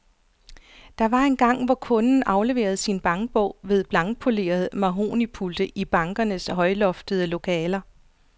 Der var engang, hvor kunden afleverede sin bankbog ved blankpolerede mahognipulte i bankernes højloftede lokaler.